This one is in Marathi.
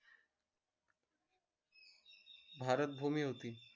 भारत भूमी होती